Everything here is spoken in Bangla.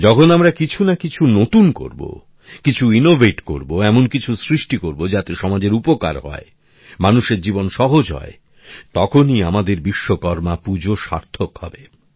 যখন আমরা কিছু না কিছু নতুন করবো কিছু উদ্ভাবন করবো এমন কিছু সৃষ্টি করবো যাতে সমাজের উপকার হয় মানুষের জীবন সহজ হয় তখনই আমাদের বিশ্বকর্মা পূজা সার্থক হবে